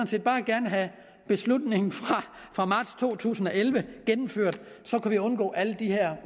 set bare gerne have beslutningsforslaget fra marts to tusind og elleve gennemført så kunne vi undgå alle de